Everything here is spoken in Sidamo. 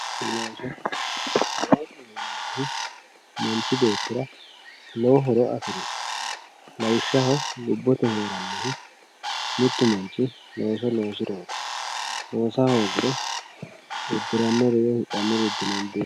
looso loosu manchi beettira lowo horo aanno lawishshaho lubbote heerannohu mittu manchi looso loosirooti loosa hoogiro uddirannori woye itannori dino